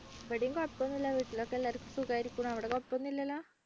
ഇവിടെയും കുഴപ്പമൊന്നുമില്ല വീട്ടിൽ ഒക്കെ എല്ലാവർക്കും സുഖമായിരിക്കുന്നു അവിടെ കുഴപ്പമൊന്നുമില്ലല്ലോ?